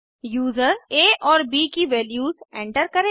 user आ और ब की वैल्यूज एंटर करेगा